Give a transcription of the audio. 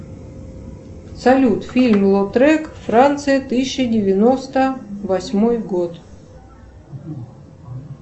салют фильм лотрек франция тысяча девяносто восьмой год